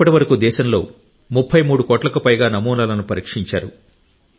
ఇప్పటివరకు దేశంలో 33 కోట్లకు పైగా నమూనాలను పరీక్షించారు